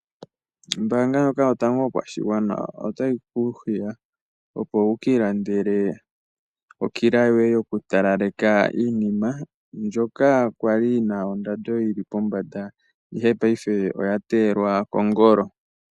Ombaanga ndjoka yotango yopashigwana otayi ku hiya opo wu ka ilandele okila yoye yokutalaleka iinima ndjoka ya li yi na ondando yi li pombanda, ihe paife oya teyelwa kongolo.